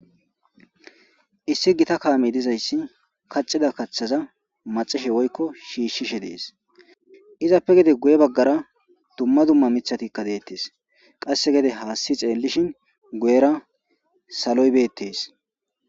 Issi gita kaamey dizayssi kaxodda kaththaza maxoshshe woykko shiishshishe dees izappe gede guye baggara dumma dumma miiththatikka deettes qasse gede haassi xeellishin guyera saloybeettees